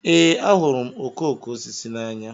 Ee, ahụrụ m okooko osisi n'anya.